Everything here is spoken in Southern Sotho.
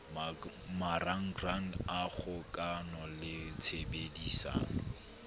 marangrang a kgokano le tshebedisano